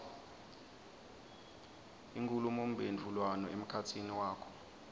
inkhulumomphendvulwano emkhatsini wakho